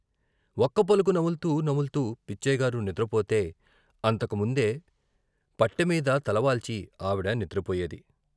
వక్కపలుకు నముల్తూ నముల్తూ పిచ్చయ్య గారు నిద్ర పోతే అంతకు ముందే పట్టె మీద తలవాల్చి ఆవిడ నిద్రపోయేది.